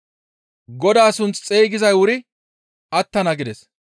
Godaa sunth xeygizay wuri attana› gides.